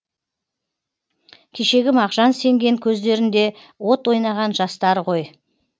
кешегі мағжан сенген көздерінде от ойнаған жастар ғой